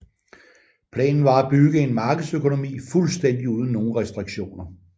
Planen var at bygge en markedsøkonomi fuldstændig uden nogen restriktioner